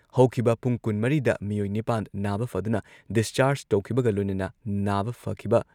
ꯍꯧꯈꯤꯕ ꯄꯨꯡ ꯀꯨꯟꯃꯔꯤꯗ ꯃꯤꯑꯣꯏ ꯅꯤꯄꯥꯟ ꯅꯥꯕ ꯐꯗꯨꯅ ꯗꯤꯁꯆꯥꯔꯖ ꯇꯧꯈꯤꯕꯒ ꯂꯣꯏꯅꯅ ꯅꯥꯕ ꯐꯈꯤꯕ